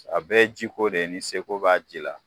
A bɛɛ ye ji ko de ye, ni se b'a ji la.